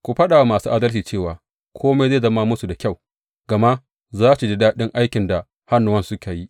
Ku faɗa wa masu adalci cewa kome zai zama musu da kyau, gama za su ji daɗin aikin da hannuwansu suka yi.